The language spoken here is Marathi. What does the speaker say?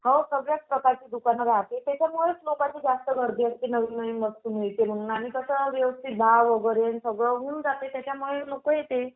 हो सगळ्याच प्रकारची दुकानं राहते, त्याच्यामुळेच लोकांना खूप जास्त गर्दी असते नवनवीन वस्तू घ्यायच्या म्हणून आणि सगळं व्यवस्थित होऊन जाते म्हणून लोक येते